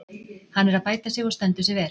Hann er að bæta sig og stendur sig vel.